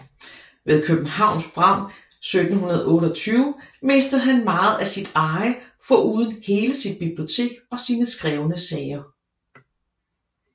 Ved Københavns brand 1728 mistede han meget af sit eje foruden hele sit bibliotek og sine skrevne sager